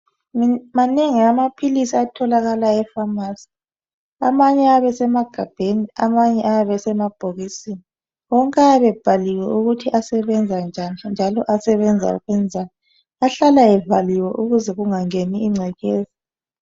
Manengi amaphilisi atholakala efamasi amanye ayabe esemagabheni amanye esemabhokisini wonke ayabe ebhaliwe ukuthi asebenza njani njalo asebenza ukwenzani ahlala evaliwe ukuze kungangeni ingcekeza